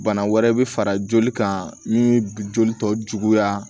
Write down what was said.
Bana wɛrɛ bɛ fara joli kan min joli tɔ juguya